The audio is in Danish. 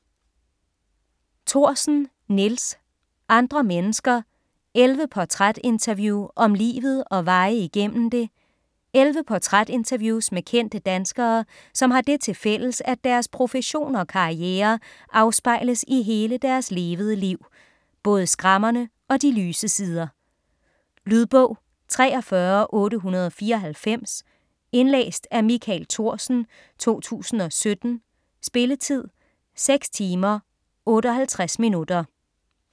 Thorsen, Nils: Andre mennesker: 11 portrætinterview om livet og veje igennem det 11 portrætinterviews med kendte danskere som har det til fælles at deres profession og karriere afspejles i hele deres levede liv, både skrammerne og de lyse sider. Lydbog 43894 Indlæst af Michael Thorsen, 2017. Spilletid: 6 timer, 58 minutter.